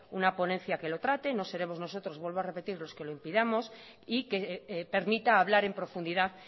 una ponencia que lo trate no seremos nosotros vuelvo a repetir los que lo impidamos y que permita hablar en profundidad